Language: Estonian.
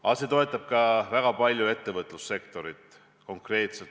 Samuti toetab see samm väga palju ettevõtlussektorit.